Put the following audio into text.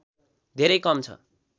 धेरै कम छ